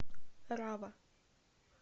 рава